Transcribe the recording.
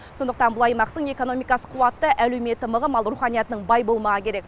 сондықтан бұл аймақтың экономикасы қуатты әлеуметі мығым ал руханиятының бай болмағы керек